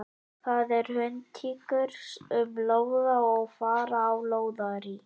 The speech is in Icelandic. Það eru hundtíkur sem lóða og fara á lóðarí.